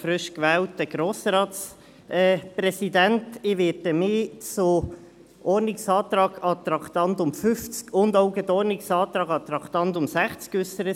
Ich werde mich zum Ordnungsantrag zum Traktandum 50 und auch gleich zum Ordnungsantrag zum Traktandum 60 äussern.